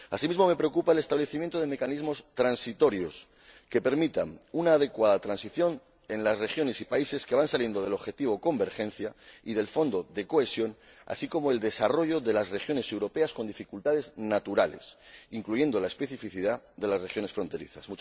Asimismo, me preocupa el establecimiento de mecanismos transitorios que permitan una adecuada transición en las regiones y en los países en que se van reduciendo las intervenciones en el marco del objetivo de convergencia y del Fondo de Cohesión, así como el desarrollo de las regiones europeas con dificultades naturales, incluyendo la especificidad de las regiones fronterizas.